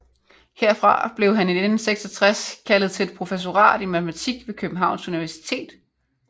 Herfra blev han i 1966 kaldet til et professorat i matematik ved Københavns Universitet